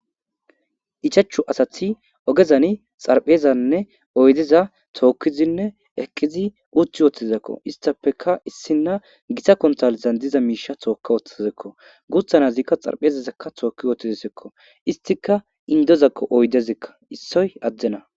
ichachu asathi ogezani xarphezanne oydeza tookkizinne eqqizi uuthi woohtizekko istappeka issinna gita kontalizan diza miisha tookka woththizekko guuthanazikka xarphezazekka tookki wootizesekko istika indozakko oydezekka issoy addena